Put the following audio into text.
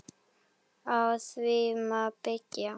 Á því má byggja.